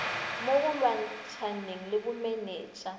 mo go lwantshaneng le bomenetsa